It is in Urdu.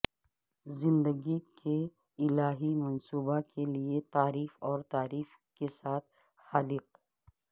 زندگی کے الہی منصوبہ کے لئے تعریف اور تعریف کے ساتھ خالق